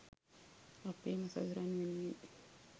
අපේම සොයුරන් වෙනුවෙන්